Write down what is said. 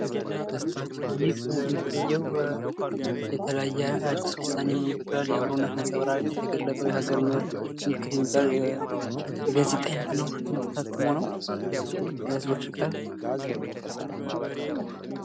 ይህ የሚታየው የተለያየ አዲስ ልሳን የሚባል፣ የአብሮነት ነጸብራቅ፣ የተገለጠው የሃገር ምልክት የሚባለው የጋዜጣ አይነት ነው። በህዝቦች ቀርቦ።